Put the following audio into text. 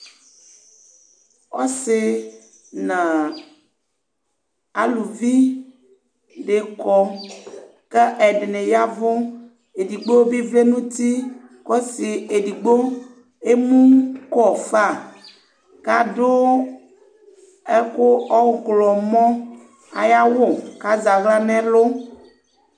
ɔsi na aluvi ni kɔ ka ɛdini yavu , edigbo bi vlɛ nuti kɔsi edigbo emukɔ fa kadu ɛku ɔklɔmɔ ayawu kazaɣrla nɛlu